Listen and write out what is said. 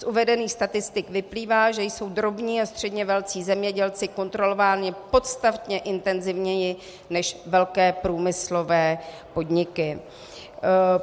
Z uvedených statistik vyplývá, že jsou drobní a středně velcí zemědělci kontrolováni podstatně intenzivněji než velké průmyslové podniky.